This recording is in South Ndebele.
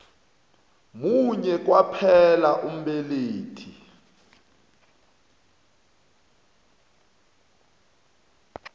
munye kwaphela umbelethi